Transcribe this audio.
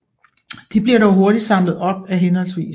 De bliver dog hurtigt samlet op af hhv